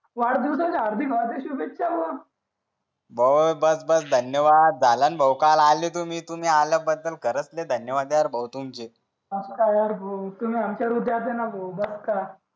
वाढदिवसाच्या हार्दिक हार्दिक शुभेच्छा हो बस बस धन्यवाद झालं न भाऊ काल आलेत तुम्ही तुम्ही आल्या बद्दल धन्यवाद यार बहुत तुमचे मग काय यार तुम्ही आमच्या विद्यार्थ्यांना